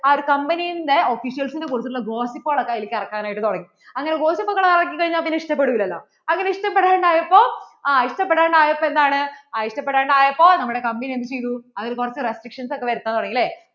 ആ ഒരു company ന്‍റെ officials നെ കുറിച്ചുള്ള gossip കളൊക്കെ അതിൽ ഇറക്കാനായിട്ട് തുടങ്ങി അങ്ങനെ gossip കൾ ഒക്കെ ഇറക്കി കഴിഞ്ഞാൽ പിന്നേ ഇഷ്ടപെടില്ലല്ലോ അങ്ങനെ ഇഷ്ടപെടാണ്ട് ആയപ്പോൾ ആ ഇഷ്ടപെടാണ്ട് ആയപ്പോൾ എന്താണ് ഇഷ്ടപെടാണ്ട് ആയപ്പോൾ നമ്മടെ company എന്ത് ചെയ്‌തു അതിൽ കുറച്ചു restriction ഒക്കേ വരുത്താൻ തുടങ്ങി അല്ലേ